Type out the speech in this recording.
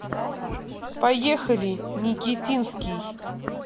поехали никитинский